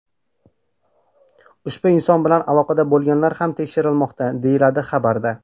Ushbu inson bilan aloqada bo‘lganlar ham tekshirilmoqda”, deyiladi xabarda.